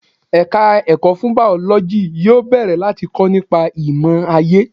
Ẹ̀ka ẹ̀kọ́ fún Bàọ́lọ́jì yóò bẹ̀rẹ̀ láti kọ́ nípa ìmò aayé.